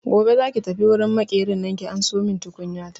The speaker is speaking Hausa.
Gobe za ki tafi wurin Maƙerin nan ki ansomin tukunyata!